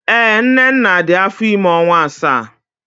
Ee, Nnenna dị afọ ime ọnwa asaa